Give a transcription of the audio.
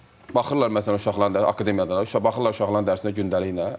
Uşağa baxırlar uşaqların dərsinə gündəliklə.